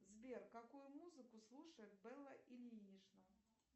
сбер какую музыку слушает белла ильинична